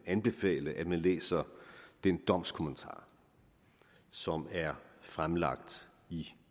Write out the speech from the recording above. anbefale at man læser den domskommentar som er fremlagt i